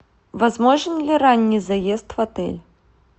возможен ли ранний заезд в отель